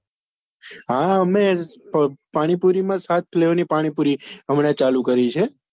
હા અમે પાણીપુરી માં સાત flavour ની પાણીપુરી હમણાં ચાલુ કરી છે.